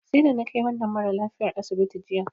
Sai da na kai wannan maralafiyar asibiti jiya.